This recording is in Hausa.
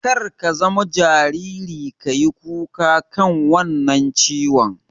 Kar ka zama jariri ka yi kuka kan wannan dan ciwon.